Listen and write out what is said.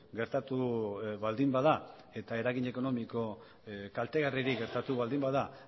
gertatu baldin bada eta eragin ekonomiko kaltegarririk gertatu baldin bada